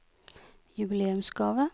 jubileumsgave